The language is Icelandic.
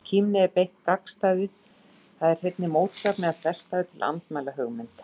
Í kímni er beitt gagnstæðu, það er hreinni mótsögn eða þverstæðu, til að andmæla hugmynd.